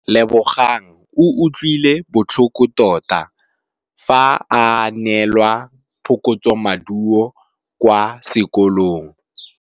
Lebogang o utlwile botlhoko tota fa a neelwa phokotsômaduô kwa sekolong.